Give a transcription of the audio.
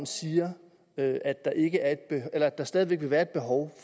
siger at der stadig væk vil være et behov